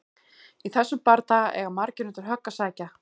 Í þessum bardaga eiga margir undir högg að sækja!